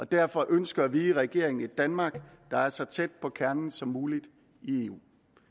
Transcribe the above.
derfor ønsker vi i regeringen et danmark der er så tæt på kernen som muligt i eu